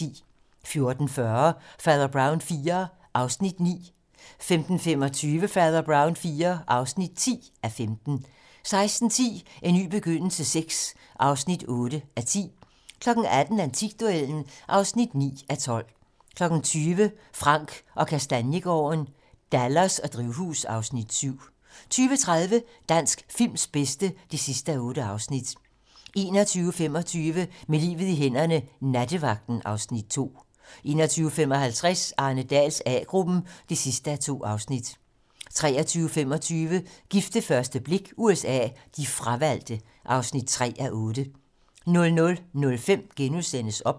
14:40: Fader Brown IV (9:15) 15:25: Fader Brown IV (10:15) 16:10: En ny begyndelse VI (8:10) 18:00: Antikduellen (9:12) 20:00: Frank & Kastaniegaarden - Dallas og drivhus (Afs. 7) 20:30: Dansk films bedste (8:8) 21:25: Med livet i hænderne: Nattevagten (Afs. 2) 21:55: Arne Dahls A-gruppen (2:2) 23:25: Gift ved første blik USA: De fravalgte (3:8) 00:05: OBS *